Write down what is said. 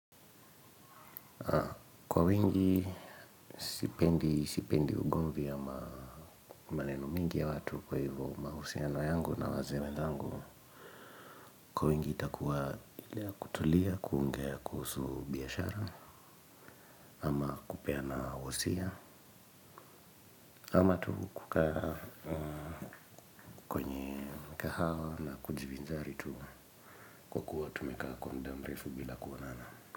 Kwa wingi, sipendi ugovi ama maneno mengi ya watu, kwa hivyo mahusiano yangu na wazee wenzangu. Kwa wingi itakuwa ile yakutulia kuongea kuhusu biashara ama kupeana wasia. Ama tu kuka kwenye mkahawa na kujivinjari tu. Kwa kuwa tumeka kwa muda mrefu bila kuonana.